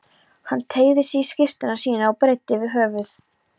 Hann teygði sig í skyrtuna sína og breiddi yfir höfuð.